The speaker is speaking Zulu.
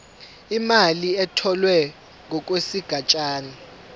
imali etholwe ngokwesigatshana